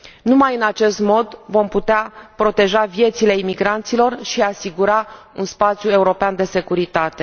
Numai în acest mod vom putea proteja viețile imigranților și asigura un spațiu european de securitate.